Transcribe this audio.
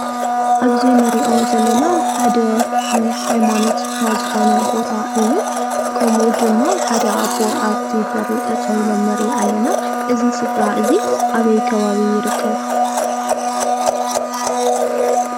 ኣብዚ ንሪኦ ዘለና ሓደ ናይ ሃይማኖት ስፍራ ዝኾነ ቦታ እዩ። ከምኡ ድማ ሓደ ኣቦ ኣብቲ በሪ ጠጠው ኢሎም ንሪኢ ኣለና። እዚ ስፍራ እዚ ኣበይ ከባቢ ይርከብ?